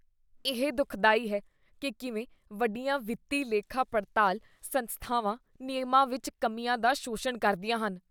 ਇਹ ਦੁਖਦਾਈ ਹੈ ਕੀ ਕਿਵੇਂ ਵੱਡੀਆਂ ਵਿੱਤੀ ਲੇਖਾਪੜਤਾਲ ਸੰਸਥਾਵਾਂ ਨਿਯਮਾਂ ਵਿੱਚ ਕਮੀਆਂ ਦਾ ਸ਼ੋਸ਼ਣ ਕਰਦੀਆਂ ਹਨ।